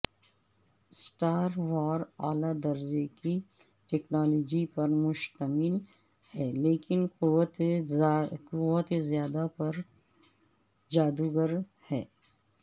star War اعلی درجے کی ٹیکنالوجی پر مشتمل ہے لیکن قوت زیادہ تر جادوگر ہے